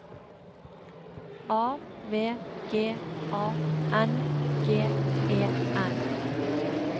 A V G A N G E N